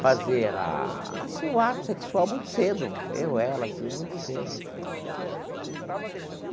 fazer a assim o ato sexual muito cedo, eu, ela assim, muito cedo.